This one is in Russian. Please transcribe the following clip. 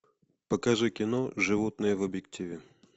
покажи кино животные в объективе